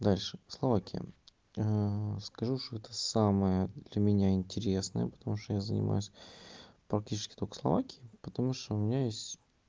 дальше словакия скажу что это самое для меня интересное потому что я занимаюсь практически только словакией потому что у меня есть